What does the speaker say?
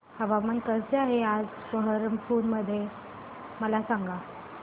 हवामान कसे आहे आज बरहमपुर मध्ये मला सांगा